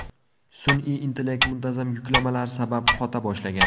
Sun’iy intellekt muntazam yuklamalar sabab qota boshlagan.